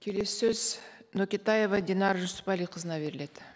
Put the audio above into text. келесі сөз нүкетаева динар жүсіпәліқызына беріледі